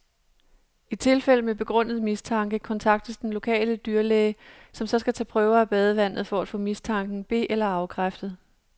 I tilfælde med begrundet mistanke kontaktes den lokale dyrlæge, som så skal tage prøver af badevandet, for at få mistanken be eller afkræftet.